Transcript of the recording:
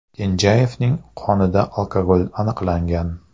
Kenjayevning qonida alkogol aniqlangan.